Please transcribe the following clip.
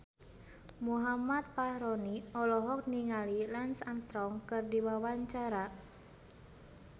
Muhammad Fachroni olohok ningali Lance Armstrong keur diwawancara